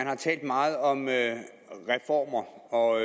har talt meget om reformer og